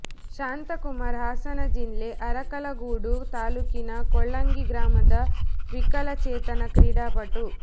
ಶಾಂತ ಕುಮಾರ್ ಹಾಸನ ಜಿಲ್ಲೆ ಅರಕಲಗೂಡು ತಾಲೂಕಿನ ಕೊಳ್ಳಂಗಿ ಗ್ರಾಮದ ವಿಕಲ ಚೇತನ ಕ್ರೀಡಾಪಟು